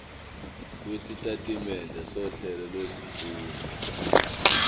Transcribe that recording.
lwesitatimende sohlelo lwezifundo